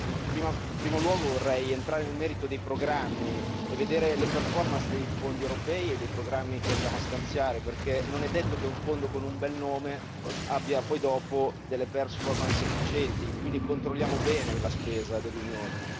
In primo luogo vorrei entrare nel merito dei programmi e vedere le dei fondi europei e dei programmi che andiamo a stanziare, perché non è detto che un fondo con un bel nome abbia poi dopo delle efficienti, quindi controlliamo bene la spesa dell'Unione.